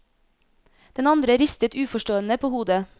Den andre ristet uforstående på hodet.